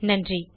நன்றி